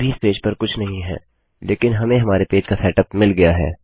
अभी इस पेज पर कुछ नहीं है लेकिन हमें हमारे पेज का सेटअप मिल गया है